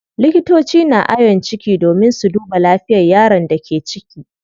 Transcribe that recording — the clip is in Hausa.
Likitoci na ayon ciki domin su duba lafiyar yaron da ke ciki.